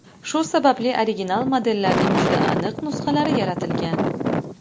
Shu sababli original modellarning juda aniq nusxalari yaratilgan.